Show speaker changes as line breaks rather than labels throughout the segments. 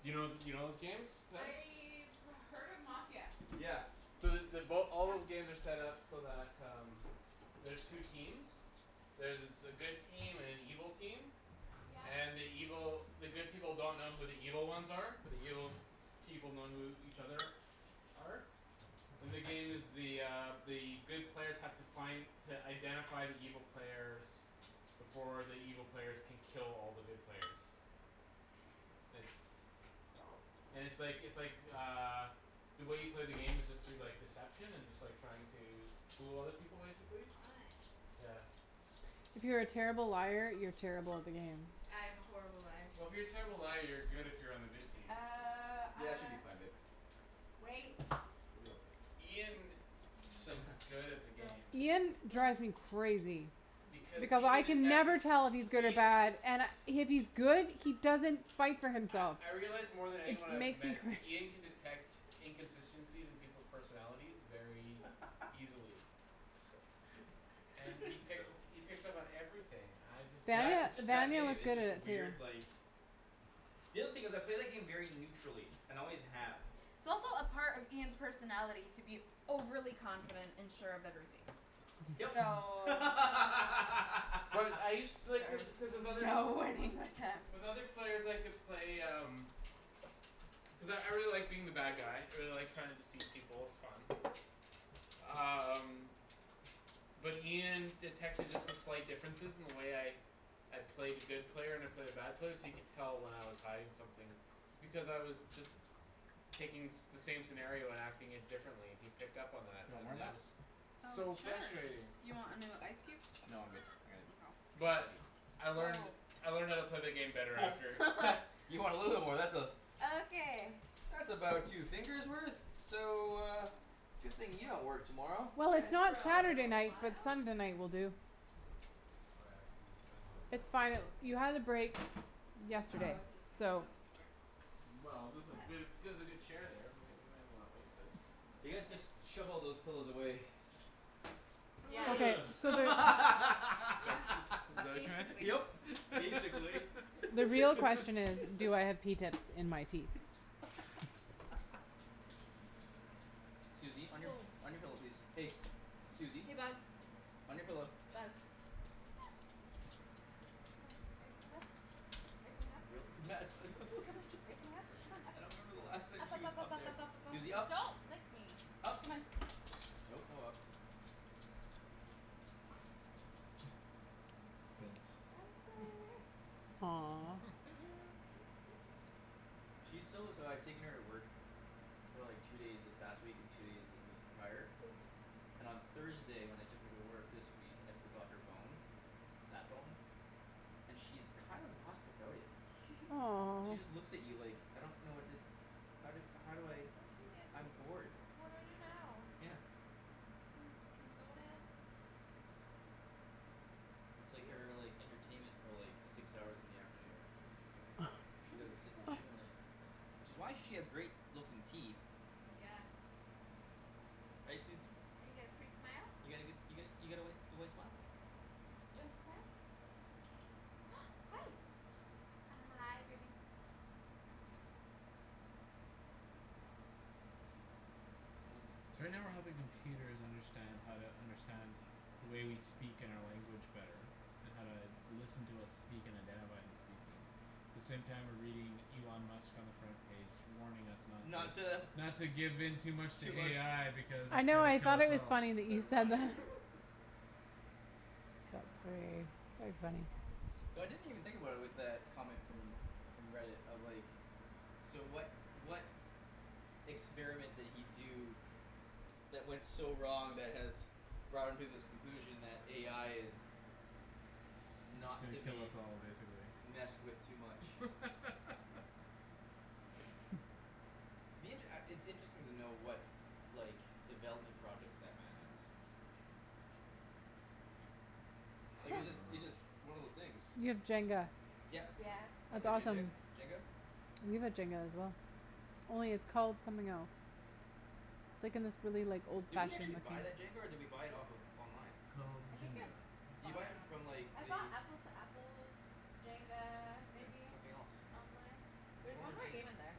You know, you know those games, Ped?
I've heard of Mafia.
Yeah.
So the, they both, all
Come.
those games are set up so that um there's two
Sit.
teams. There's s- a good team and an evil team.
Yeah.
And the evil, the good people don't know who the evil ones are but the evil people know who each other are. And the game is the uh the good players have to find to identify the evil players before the evil players can kill all the good players. It's
Oh.
and it's like, it's like uh the way you play the game is just through, like, deception and just, like, trying to fool other people, basically.
Fun.
Yeah.
If you're a terrible liar, you're terrible at the game.
I am a horrible liar.
Well, if you're a terrible liar you're good if you're on the good team.
Uh,
Yeah, it should
ah
be fine, babe.
Wait.
She'll be okay.
Ian s- is good at the
Go,
game.
Ian
go.
drives me crazy.
Because he
Because
can
I can
detect it,
never tell if he's good or
Ia-
bad and I, if he's good, he doesn't fight for
I,
himself.
I realize more than
It
anyone I've
makes me
met
cra-
Ian can detect inconsistencies in people's personalities very easily. And he pick-
So
he picks up on everything; I just can't
That,
Danie-
it's just that
Daniel
game,
is
it's
good at
just a
it too.
weird, like The other thing is, I play that game very neutrally and always have.
It's also a part of Ian's personality to be overly confident and sure of everything.
Yep.
So
But I used to, like, cuz, cuz with
there's
other,
no winning with him.
with with other players I could play um cuz I, I really like being the bad guy. I really like trying to deceive people; it's fun. Um But Ian detected just the slight differences in the way I I play the good player and I play the bad player so you could tell when I was hiding something. It's because I was just taking the same scenario and acting it differently. He picked up on
Do
that,
you want more
and
on
that
that?
was
Oh,
So
sure,
frustrating.
do you want another ice cube?
No, I'm good. All right.
Mkay.
But I learned,
Oh.
I learned how to play the game better after.
What. You want a little war, that's a
Okay.
that's about two fingers worth. So uh Good thing you don't work tomorrow.
Well,
Good
it's
for
not
a
Saturday
little
night but
while.
Sunday night will do.
Oh, yeah, I can move my stuff
It's
there.
fine; you had the break
Oh, I
yesterday,
was just gonna sit
so.
on the floor.
Well, there's a,
But
ther- there's a good chair there; we may, we may as well not waste it.
You guys just shove all those pillows away.
Yeah.
So where
Yeah,
That's, is, is
basically.
that
Yep.
what you
Basically.
The real
meant?
question is, do I have pea tips in my teeth?
Susie, on your,
Woah.
on your pillow, please. Hey. Susie,
Hey, bug.
on your pillow.
Bug. Come on. Are you coming up? Are you coming up? Come on, are you coming up? Come on, up.
I don't remember the last time
Up,
she
up,
was
up, up,
up
up,
there.
up, up, up, up,
Susie,
up.
up.
Don't lick me.
up.
Come on.
Nope, no up.
Fence.
I'll sit right over here.
She's so, so I've taken her to work for like two days this past week and two days the week prior
Oh.
and on Thursday when I took her to work this week, I forgot her bone that bone and she's kinda lost without it. She
Aw.
just looks at you like "I don't know what to how do, how do I
"Oh, okay, dad, what
I'm bored."
d- what do I do now?"
Yeah.
"Can, can we go, dad?"
It's like her, like, entertainment for, like six hours in the afternoon. All she does is sit and chew on it. Which is why she has great looking teeth.
Yeah.
Right, Susie?
You got a pretty smile.
You got a good, you got, you got a white, your white smile? Yeah.
Can you smile? Hi. Hi, baby.
So right now we're helping computers understand how to understand the way we speak and our language better and how to listen to us speak and identify who's speaking the same time we're reading Elon Musk on the front page warning us not
Not to
to not to give in too much to
Too much
AI because
I
it's
know,
gonna
I
kill
thought
us
it was
all.
funny that
It's
you said
ironic.
that. That's gra- very funny.
Ouch.
So I didn't even think about it with that comment from from Reddit of, like So what, what experiment did he do that went so wrong that has brought him to this conclusion that AI is
He's
not
gonna
to
kill us
be
all, basically.
messed with too much. Me, it, uh, it's interesting to know what like, development projects that man has.
I
Like, it just,
don't
it
know.
just, one of those things.
You have Jenga.
Yep.
Yeah.
Wanna
That's
play Jendar,
awesome.
Jenga?
We have Jenga as well. Only it's called something else. It's, like, in this really, like,
Did we
old-fashioned
actually
looking
buy that jenga or did we buy it off of online?
Called
I think I
Jinga.
Did you
bought
buy
it
it
on-
from, like,
I bought
the
Apples to Apples Jenga,
And
maybe
something else.
online. There
There's
was
one more
one more game
game.
in there.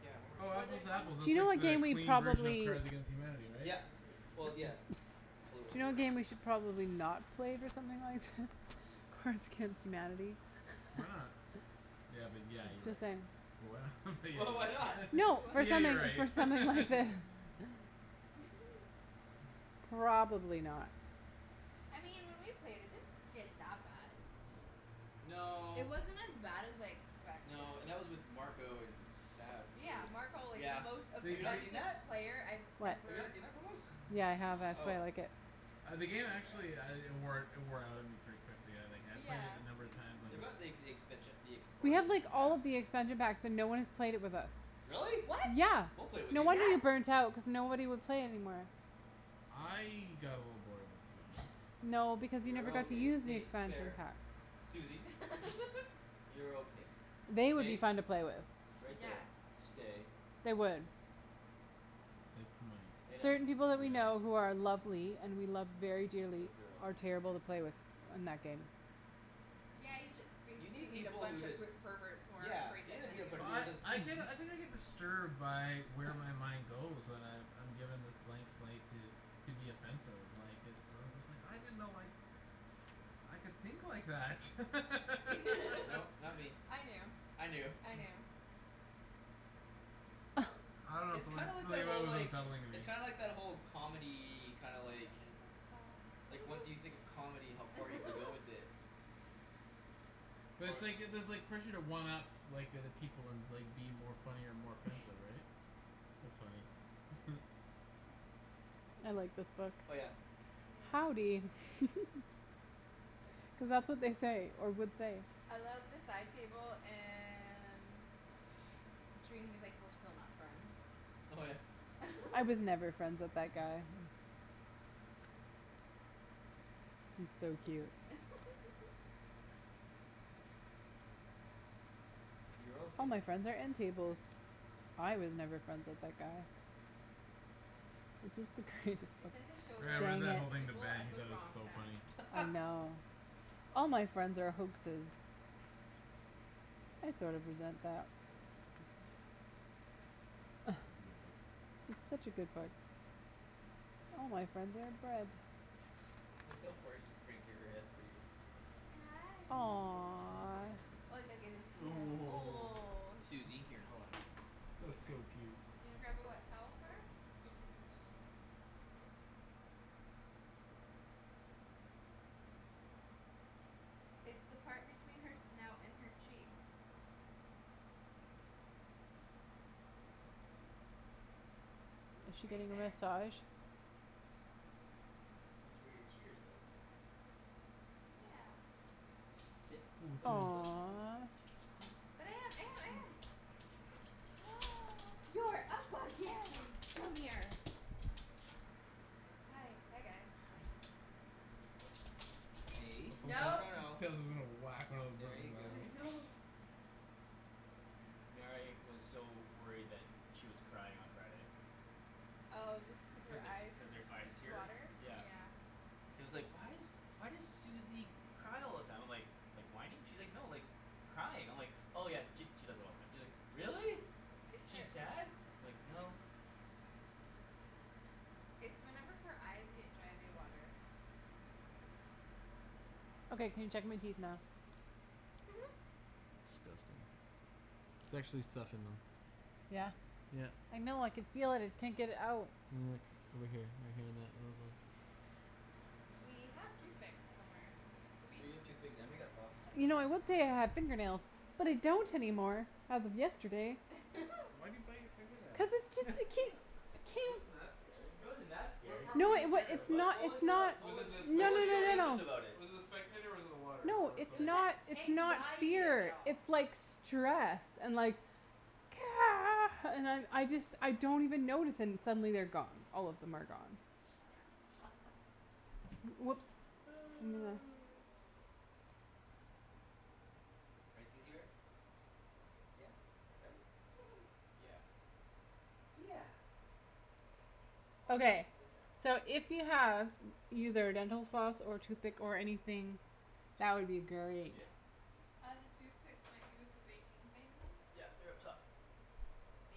Yeah, one more game
Oh,
we
Or
Apples
there's
bought.
to
one
Apples,
Do
that's
you know
like
what
the
game we
clean version of
probably
Cards against Humanity, right?
Yeah,
Yeah.
well, yeah. It's totally what
Do you
it
know what
is.
game we should probably not play with something like thi- Cards against Humanity.
Why not? Yeah, but yeah, you're
Just
right.
saying.
But why not but
But why
yeah,
not?
yeah.
No,
What?
But
for
yeah,
something,
you're right.
for something like this. Probably not.
I mean when we played it, it didn't get that bad. It
No.
wasn't as bad as I expected.
No, and that was with Marco and Sab
Yeah,
too,
Marco, like, the
yeah.
most
They,
Have you not
they
seen
offensive
that?
played I've
What?
Have you not
ever
seen that from us?
Yeah, I have. That's why
Oh.
I like it.
Ah, the game actually uh it wore, it wore out on me pretty quickly. But yeah, like, I, I've played it
Yeah.
a number of times on
They
this
got the ex- expansion, the ex-
We
part of
have, like,
different
all
packs.
the expansion packs but no one has played it with us.
Really?
What?
Yeah,
We'll play with
no
you.
wonder you
Yes.
burnt out cuz nobody would play it anymore.
I got a little bored of it, to be honest.
No, because you
You're
never got to
okay.
use the
Hey,
expansion
fair.
packs.
Susie. You're okay.
They would be
Hey,
fun to play with.
right
Yes.
there, stay.
They would.
They might.
Lay down.
Certain people that we know
Yeah.
who are lovely and we love very dearly
Good girl.
are terrible to play with in that game.
Yeah, you just
You
basically
need
need a
people who
bunch of
just
per- perverts who aren't
Yeah.
afraid to offend you.
Well, I, I get, I think I get disturbed by where my mind goes when I've, I'm given this blank slate to to be offensive, like, it's, I'm just like, "I didn't know, like I could think like that."
Nope, not me.
I knew. I
I knew.
knew.
I don't know
It's
something,
kind like
something
that,
about it
whole,
was
like
unsettling to me.
It's kinda like that whole comedy, kinda like like, once you think of comedy, how far you can go with it.
But it's
Or
like, it, there's like pressure to one up like, the other people and, like, be more funny or more offensive, right? That's funny.
I like this book.
Oh, yeah.
Howdy.
Yeah.
Cuz that's what they say, or would say.
I love the side table and he was, like, "We're still not friends."
Oh, yeah.
"I was never friends with that guy."
Yeah.
He's so cute.
You're
"All my
okay.
friends are end tables." "I was never friends with that guy." This is the greatest
I
book.
tend to show
Yeah, I
that
read
Dang it.
that
book
whole
to
thing to
people
Ben;
at
he
the
thought it was
wrong
so
time.
funny.
I know. "All my friend are hoaxes." I sort of resent that. Ah.
Read a book.
It's such a good book. "All my friend are."
Look how far she's cranking her head for you.
Hi.
Aw.
Oh, oh, oh.
Susie,
Oh,
here, hold on.
That's
Come here.
so
Susie.
cute.
You gonna grab a wet towel for her?
I'm just gonna do this.
It's the part between her snout and her cheeks.
Is she
Right
getting a
there.
massage?
That's where your tears go.
Yeah.
Sit.
Oh, thanks.
Hi.
Aw.
Hi.
But I am, I am, I
Hi.
am. You're up again! Come here. Hi, hi, guys.
Hi. Hey,
Oh
no,
No.
no, no.
Kara's, was gonna whack one of the
There you
ribbons out.
I
go.
know.
Mary was so worried that she was crying on Friday.
Oh, just cause
Cuz
her
the t-
eyes
cuz her eyes tear,
water? Yeah.
yeah. She was like, "Why is, why does Susie cry all the time?" I'm like "Like whining?" She's like, "No, like crying." I'm like "Oh, yeah, she, she does that all the time." She's like, "Really?
It's
Is she
her
sad?" I'm like, "No."
It's whenever her eyes get dry they water.
Okay, can you check my teeth now?
Disgusting. There's actually stuff in them.
Yeah.
Yep.
I know, I could feel it; just can't get it out.
Yeah, over here, right here in that
We have toothpicks somewhere, do we?
We have toothpicks, and we got floss.
You know I would
Yeah.
say I have fingernails, but I don't anymore as of yesterday.
Wh- why do you bite your finger nails?
Cuz it just a ke-
It
ke-
wasn't that scary.
It wasn't that
What
scary.
part were
No,
you
it wa-
scared of?
it's
What,
not,
what was
it's
the,
not
what
Was it
was
the
what
No,
was
no,
so
no,
spectator?
no,
anxious
no.
about it?
Was it the spectator or was it the water
No,
or
It
it's
something
was
else?
the
not, it's not
anxiety of it
fear.
all.
It's like stress and like and I'm, I just, I don't even notice, and suddenly they're gone; all of them are gone.
Yeah.
W- whoops.
Right, Susie bear? Yeah. Right? Yeah. Yeah. Oh, yeah.
Okay. So if you have either dental floss or toothpick or anything that would be great.
Yeah.
Uh, the toothpicks might be with the baking things.
Yeah, they're up top.
They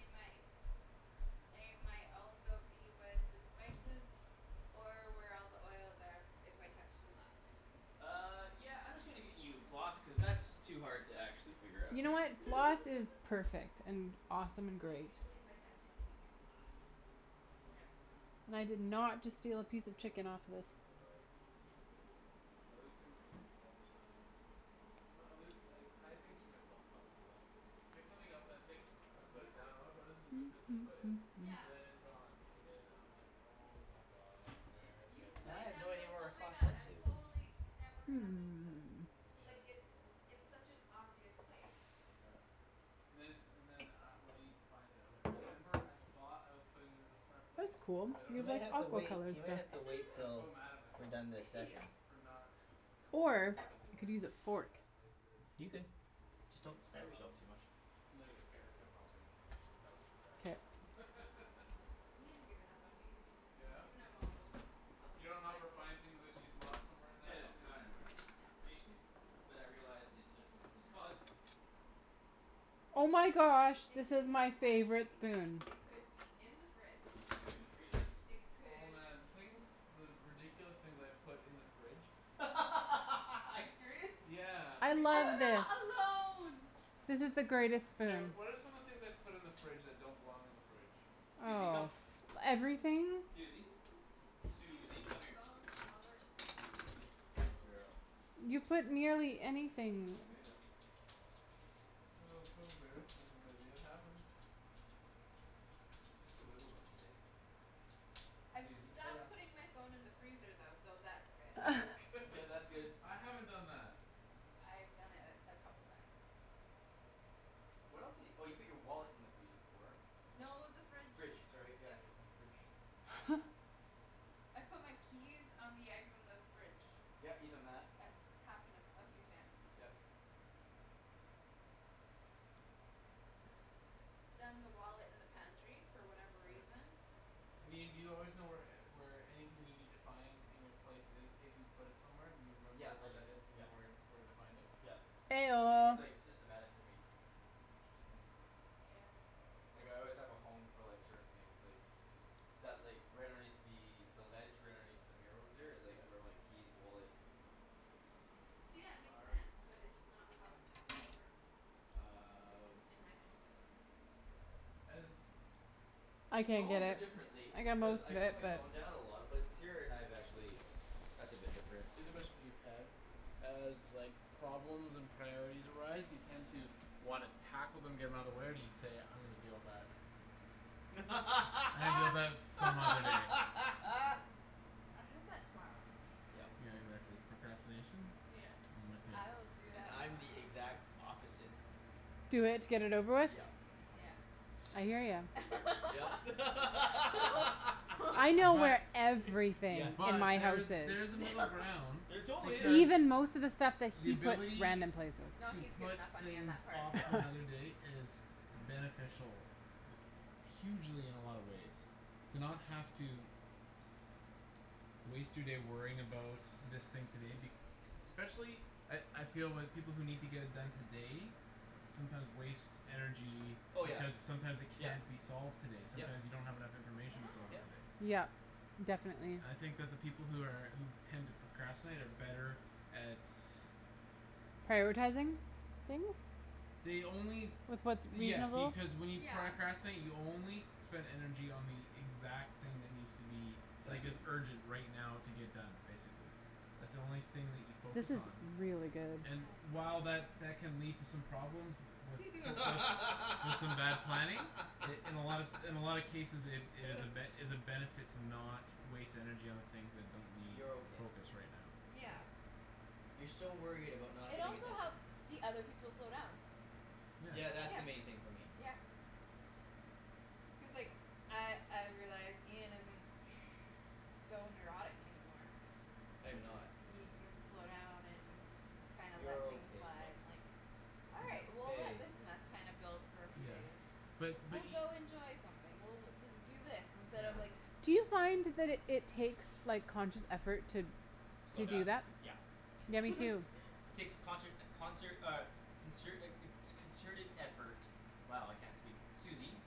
might They might also be with the spices or where all the oils are if I touched them last.
Uh, yeah, I'm just gonna get you floss cuz that's too hard to actually figure out.
You know what, floss is perfect and awesome and great.
Basically if I touch anything you're fucked. You'll never find it.
And I did not just steal a piece of
Yeah,
chicken off this.
I can relate. I lose things all the time. It's not, I lose, I hide things from myself some how, like I pick something else and I think and I put it
Yeah.
down, "Okay, this is a good place to put it." But
Yeah.
then it's gone and then I'm like "Oh, my god,
Like,
where did
you
I put
put
And I
it
it?"
have
down and
no
you're
idea
like,
where
"Oh,
our
my
floss
god,
went
I'm
to.
totally never gonna miss this."
Hmm.
Yeah.
Like, it's in such an obvious place.
Yeah. And then it's, and then uh when I need to find it I'm like, "I remember I thought I was putting it in a smart place
That's cool;
but I don't
You
you've
remember
may
like
where
have to
that
aqua
place
wait.
color.
You
was."
may have to wait
And I'm so
till
mad at
we're
myself
done this
Yeah.
session.
for not
Or
remembering
you could
where the
use a
fuck
fork.
that place is.
You could.
Yeah.
Just don't stab
Um
yourself too much.
And then I get Kara to come help me and she helps me track it
K.
down.
Ian's given up on me. He's
Yeah?
given up all hope on
You
helping me
don't help her
find things.
find things that she's lost somewhere in
Yeah,
that, and
no,
then
not anymore, no.
No.
I used to. But I realized it's just a hopeless cause.
I
Oh my
mean,
gosh,
it
this
could
is
be in the
my favorite
pantry.
spoon.
It could be
Could be
in the fridge.
in the freezer.
It
Oh,
could
man, the things the ridiculous things I've put in the fridge.
Are you serious?
Yeah.
I
Like
love
what?
this.
I'm not alone.
This is the greatest
Kara,
spoon.
what are some of the things I've put in the fridge that don't belong in the fridge?
Susie, come.
Oh, everything.
Susie.
Keys,
Susie, come here.
phones, wallets. All
Good
of it.
girl.
You put nearly anything.
Oh, so embarrassing but it happens.
Yeah.
You're such a wiggle bum today.
I've
Susie, lay
stopped
down.
putting my phone in the freezer though, so that's good.
That's good.
Yeah, that's good.
I haven't done that.
I've done it a, a couple times.
What else di- oh, you put your wallet in the freezer before.
No, it was the fridge,
Fridge, sorry,
yep.
yeah, uh, fridge.
I've put my keys on the eggs in the fridge.
Yeah, you've done that.
It's happened a, a few times.
Yep.
Done the wallet in the pantry for whatever
Yeah.
reason.
I mean, do you always know where e- where anything you need to find in your place is if you put it somewhere? Do you remember
Yeah, I
where
do,
that is and you
yeah.
know where, where to find it?
Yeah.
Eh
I
That's,
don't.
oh.
like, systematic for me.
Interesting.
Yeah, I know.
Like, I always have a home for, like, certain things, like that, like, right underneath the the ledge right underneath the mirror over there is,
Yeah.
like, where my keys, wallet
See, yeah, it makes
are.
sense but it's not how it happ- it works.
Um
In my head.
As
I can't
Phones
get
are
it.
different
I
lately
got
cuz
most
I
of
put
it,
my
but.
phone down a lot of places here, and I've actually That's a
Okay.
bit different.
Cuz especially, for you, Ped as, like problems and priorities arise you tend to wanna tackle them, get 'em outta the way, or do you say "I'm gonna deal with that" "I'm gonna deal with that some other day."
I'll do that tomorrow.
Yep.
Yeah, exactly. Procrastination.
Yes,
I'm with ya.
I'll do
And
that
I'm the
tomorrow.
exact opposite.
Do it to get it over with?
Yep.
Yeah.
I hear ya.
Yep.
I know
But
where everything in
but
my house
Yeah,
there's,
she
is.
there's a middle
No.
ground.
There totally
Cuz
is.
Even most of the stuff that
the
he puts
ability
random places.
No,
to
he's
put
given up on me on
things
that part.
off to another day is beneficial hugely in a lot of ways to not have to waste your day worrying about this thing today be- especially at, I feel with people who need to get it done today sometimes waste energy
Oh, yeah.
because sometimes it
Yep,
can't be solved today. Sometime
yep.
you don't have enough
Yeah.
information to solve it
Yep.
today.
Yep, definitely.
I think that the people who are, who tend to procrastinate are better at
Prioritizing things
They only
with what's
Yes, see,
reasonable.
cuz when you
Yeah.
pracrastinate, you only spend energy on the exact thing that needs to be like,
Done.
is urgent right now to get done, basically. That's the only thing that you focus
This is
on.
really good.
And
I
while
know.
that that can lead to some problems with, wi- with, with some bad planning in, in a lot se- in a lot of cases it, it is a ben- is a benefit to not waste energy on the things that don't need
You're okay.
focus right now, so.
Yeah.
You're so worried about not
It
getting
also
attention.
helps the other people slow down.
Yeah.
Yeah, that's the
Yeah.
main thing for me.
Yeah. Cuz, like, I, I've realized Ian isn't
Shh.
so neurotic anymore.
I am
It ca-
not.
he can slow down and kinds let
You're
things
okay, pup.
and, like "All right,
Yeah.
we'll let
Hey.
this mess kinda build for a few
Yeah.
days."
Shh.
But, but
"We'll
e-
go enjoy something, we'll do do this instead of,
Yeah.
like"
Do you find that it, it takes, like, conscious effort to
Slow
to do
down?
that?
Yeah.
Yeah, me too.
It takes conshert, concert, uh consert a, a co- concerted effort. Wow, I can't speak. Susie.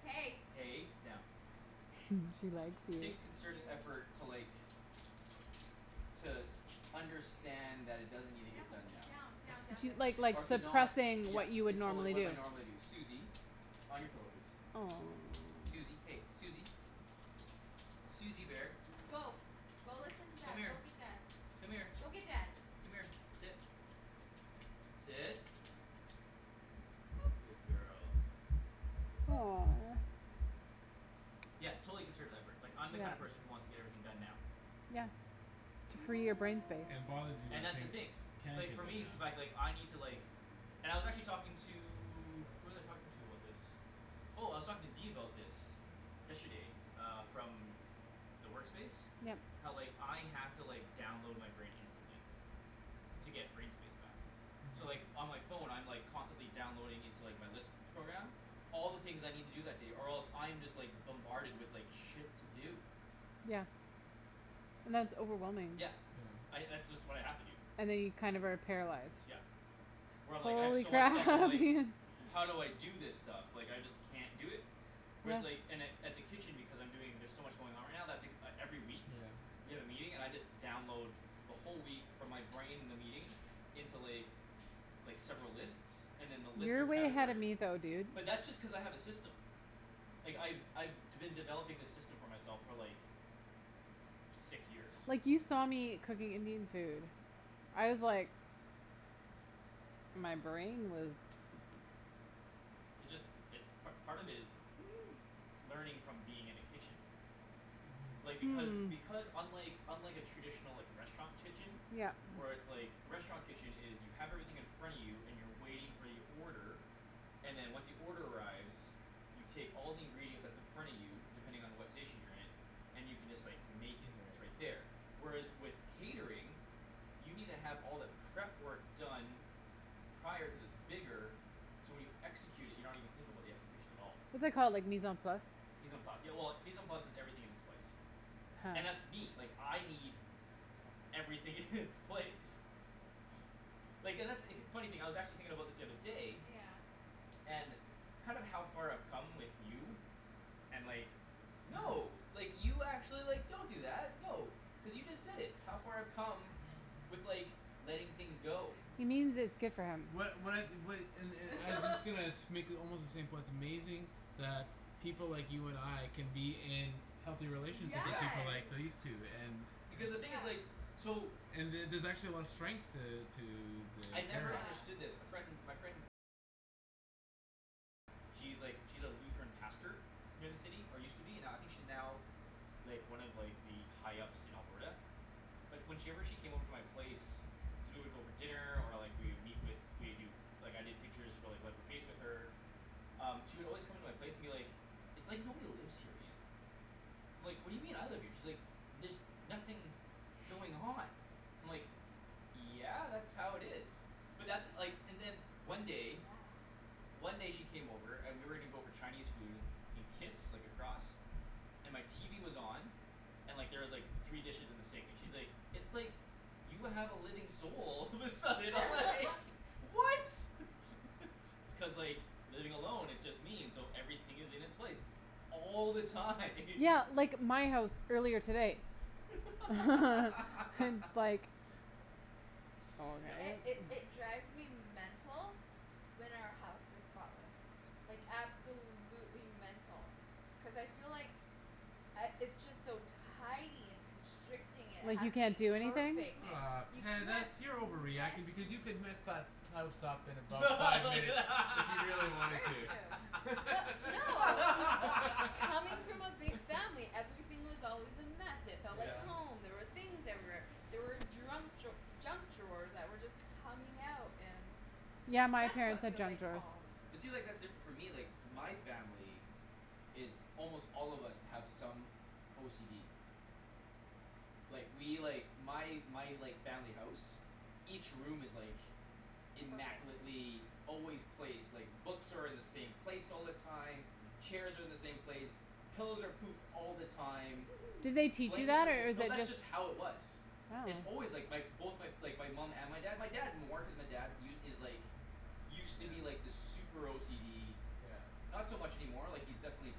Hey.
Hey, down.
She likes
It
you.
takes concerted
Yo.
effort to, like to understand that it doesn't need to get
Down,
done now.
down, down, down,
Do yo-
down, down,
like, like,
Or to
down.
not,
suppressing
yeah.
what you would
It totally,
normally
what
do.
my normally do. Susie. On your pillow, please.
Aw.
Susie, hey, Susie. Susie bear.
Go. Go listen to
Come
dad, go
here.
get dad.
Come here.
Go get dad.
Come here, sit. Sit. Good girl.
Aw.
Yeah, totally concerted effort. Like, I'm the kind of
Yeah.
person who wants to get everything done now.
Yeah. To free your
No.
brain space.
And it bothers you when
And that's the
things
thing.
can't
Like,
get
for
done
me
now.
it's the fact, like, I need to, like And I was actually talking to Who was I talking to about this? Oh, I was talking to D about this. Yesterday, uh, from the work space
Yep.
how, like, I have to, like, download my brain instantly. To get brain space back. So,
Mhm.
like, on my phone, I'm, like, constantly downloading into, like, my list program all the things I need to do that day or else I'm just, like bombarded with, like, shit to do.
Yeah. And that's overwhelming.
Yeah.
Yeah.
I, that's just what I have to do.
And then you kind of are paralyzed.
Yep. Where I'm, like, I have
Holy
so much stuff I'm
crap
like
Ian.
"How do I do this stuff? Like I just can't do it." Whereas,
Yeah.
like, in at, at the kitchen Because I'm doing, there's so much going on right now, that's ek- every week.
Yeah.
We have a meeting, and I just download the whole week from my brain the meeting into, like like, several lists and then the list
You're
are
way ahead of
categorized.
me though, dude.
But that's just cuz I have a system. Like, I've, I've d- been developing this system for myself for, like six years.
Like you saw me cooking Indian food. I was like My brain was
It just, it's part, part of it is learning from being in a kitchen.
Mhm.
Like, because,
Hmm.
because unlike unlike a traditional, like, restaurant kitchen
Yep.
where it's, like, a restaurant kitchen is you have everything in front of you and you're waiting for your order and then once the order arrives you take all the ingredients that's in front of you depending on what station you're in and you can just, like, make it, it's right
Right.
there. Whereas with catering you need to have all the prep work done prior cuz it's bigger so when you execute it, you're not even thinking about the execution at all.
What's that called, like, mise en place?
Mise en place, yeah, well, mise en place is "everything in its place."
Huh.
And that's me. Like, I need everything in its place. Like, and that's, funny thing I was actually thinking about this the other day
Yeah.
and kind of how far I've come with you and like, no like, you actually, like, don't do that. No, cuz you just said it, how far I've come with, like, letting things go.
He means its good for him.
What, what I, what, and, and I was just gonna sh- make almost the same point; it's amazing that people like you and I can be in healthy relationships with people like
Yeah.
Yes,
these two and
Because the thing is,
yeah.
like so
and the- there's actually a lot of strengths to, to the
I'd never
pairing.
Yeah.
understood this. A friend, my friend she's, like, she's a Lutheran pastor here in the city, or used to be, now, I think she's now like, one of, like, the high ups in Alberta. But when she ever, she came over to my place cuz we would go for dinner, or, like, we would meet with, we'd do like, I did pictures for, like with her um, she would always come into my place and be like "It's like nobody lives here, Ian." I'm like, "What do you mean? I live here." And she's like "There's nothing going on." I'm like "Yeah, that's how it is." But that's, like, and then one day
Yeah.
one day she came over and we were gonna go for Chinese food in Kits, like, across. And my TV was on. And, like, there was, like, three dishes in the sink, and she's like, "It's like you have a living soul." All of a sudden I was like "What?" It's cuz, like, living along it just means so everything is in its place all the time.
Yeah, like, my house earlier today. It's like Oh,
It,
okay.
Yep.
it, it drives me mental when our house is spotless. Like, absolutely mental. Cuz I feel like I, it's just so tidy and constricting, it
Like
has
you
to
can't
be
do anything?
perfect, it,
Ah,
you
Ped,
can't
that's,
be
you're over reacting because you
messy.
could mess that house up in about five minutes if you really wanted
Very
to.
true. But no. Coming from a big family, everything was always a mess, it felt like
Yeah.
Yep.
home, there were things everywhere. There were drunk draw- junk drawers that were just coming out and
Yeah, my
that's
parents
what
had
feels
junk
like
drawers.
home.
But see, like, that's different for me, like my family is almost all of us have some OCD. Like, we, like my, my, like, family house each room is, like
Perfect.
immaculately always placed, like, books are in the same place all the time
Mhm.
chairs are in the same place pillows are poofed all the time
Did they teach you
blankets
that
are fol-
or is
No,
it
that's
just
just how it was. It's
Oh.
always, like, my both, my, like, my mom and my dad, my dad more cuz my dad u- is like used to be,
Yeah.
like, this super OCD
Yeah.
not so much any more, like, he's definitely